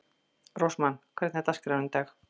Rósmann, hvernig er dagskráin í dag?